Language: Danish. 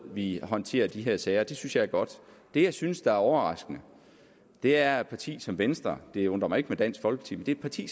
vi håndterer de her sager det synes jeg er godt det jeg synes er overraskende er at et parti som venstre det undrer mig ikke med dansk folkeparti